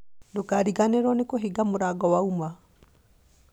Ndũkariganĩrwo nĩ kũhinga mũrango wauma